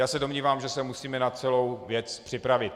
Já se domnívám, že se musíme na celou věc připravit.